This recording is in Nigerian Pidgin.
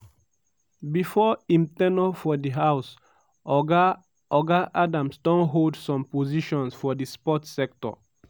before im ten ure for di house oga oga adams don hold some positions for di sports sector.